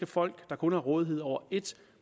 folk der kun har rådighed over ét